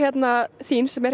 þín sem er